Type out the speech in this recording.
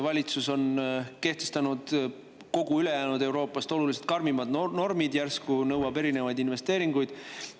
Valitsus on kehtestanud kogu ülejäänud Euroopast oluliselt karmimad normid, järsku nõuab erinevaid investeeringuid.